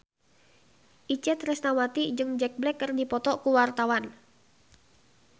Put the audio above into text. Itje Tresnawati jeung Jack Black keur dipoto ku wartawan